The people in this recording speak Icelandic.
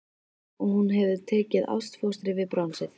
Og hún hefur tekið ástfóstri við bronsið.